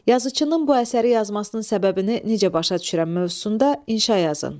Yazıçının bu əsəri yazmasının səbəbini necə başa düşürəm mövzusunda inşaya yazın.